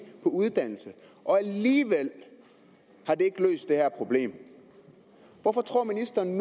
på uddannelse og alligevel har det ikke løst det her problem hvorfor tror ministeren